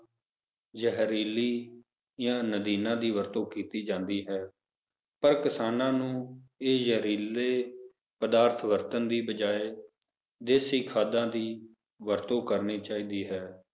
ਜਹਿਰੀਲੀ ਜਾ ਨਦੀਨਾਂ ਦੀ ਵਰਤੋਂ ਕੀਤੀ ਜਾਂਦੀ ਹੈ ਪਰ ਕਿਸਾਨਾਂ ਨੂੰ ਇਹ ਜ਼ਹਿਰੀਲੇ ਪ੍ਰਦਾਰਥ ਕਰਨ ਦੇ ਬਜਾਏ ਦੇਸੀ ਖਾਦਾਂ ਦੀ ਵਰਤੋਂ ਕਰਨੀ ਚਾਹੀਦੀ ਹੈ